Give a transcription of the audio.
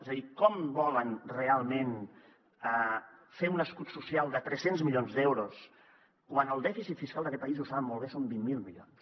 és a dir com volen realment fer un escut social de tres cents milions d’euros quan el dèficit fiscal d’aquest país i ho saben molt bé són vint miler milions